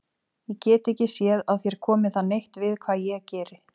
Ég get ekki séð að þér komi það neitt við hvað ég geri.